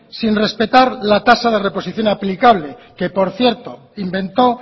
sin respetar la tasa de reposición aplicable que por cierto inventó